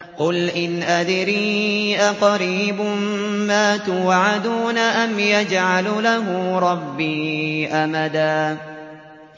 قُلْ إِنْ أَدْرِي أَقَرِيبٌ مَّا تُوعَدُونَ أَمْ يَجْعَلُ لَهُ رَبِّي أَمَدًا